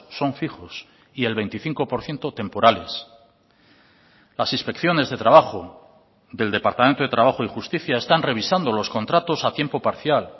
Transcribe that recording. son fijos y el veinticinco por ciento temporales las inspecciones de trabajo del departamento de trabajo y justicia están revisando los contratos a tiempo parcial